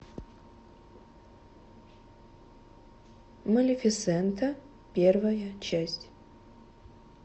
малефисента первая часть